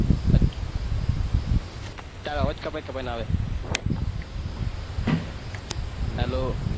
તારો અવાજ કપાઈ ને આવે hello